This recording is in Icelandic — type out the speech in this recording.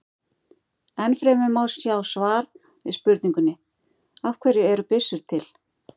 Enn fremur má sjá svar við spurningunni Af hverju eru byssur til?